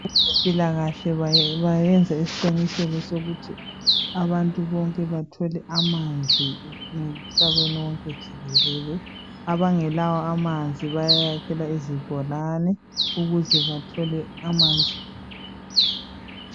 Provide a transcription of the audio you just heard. Abezempilakahle bayenza isiqiniseko sokuthi abantu bonke bathole amanzi emhlabeni wonke jikelele. Abangekawo. amanzi. bayaykhelwa izibhorane ukuze bathole amanzi.